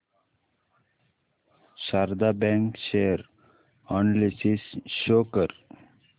Sharda bank share analysis show कर